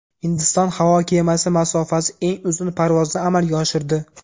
Hindiston havo kemasi masofasi eng uzun parvozni amalga oshirdi.